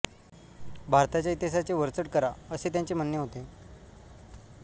भारताच्या इतिहासाचे वरचढ करा असे त्यांचे म्हणणे होते